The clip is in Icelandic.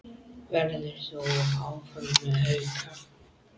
Verður þú áfram með Hauka?